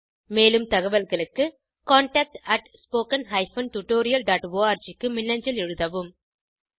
மேலும் தகவல்களுக்கு contactspoken tutorialorg க்கு மின்னஞ்சல் எழுதவும்